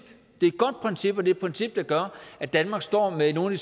og det princip der gør at danmark står med nogle